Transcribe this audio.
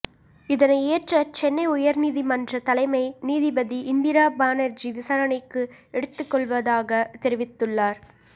இதனை ஏற்ற சென்னை உயர்நீதிமன்ற தலைமை நீதிபதி இந்திரா பானர்ஜி விசாரணைக்கு எடுத்துக்கொள்வதாக தெரிவித்துள்ளார்